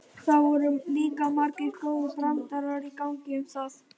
Það voru líka margir góðir brandarar í gangi um það.